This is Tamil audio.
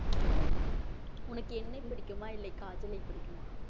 உனக்கு என்னை பிடிக்குமா இல்லை காஜலை பிடிக்குமா